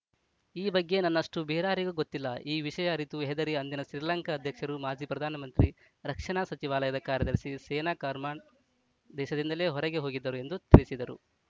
ಈ ಬಗ್ಗೆ ನನ್ನಷ್ಟುಬೇರಾರಿಗೂ ಗೊತ್ತಿಲ್ಲ ಈ ವಿಷಯ ಅರಿತು ಹೆದರಿ ಅಂದಿನ ಶ್ರೀಲಂಕಾ ಅಧ್ಯಕ್ಷರು ಮಾಜಿ ಪ್ರಧಾನಮಂತ್ರಿ ರಕ್ಷಣಾ ಸಚಿವಾಲಯದ ಕಾರ್ಯದರ್ಶಿ ಸೇನಾ ಕಮಾಂಡರ್‌ ದೇಶದಿಂದಲೇ ಹೊರಗೆ ಹೋಗಿದ್ದರು ಎಂದು ತಿಳಿಸಿದರು